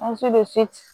Muso bɛ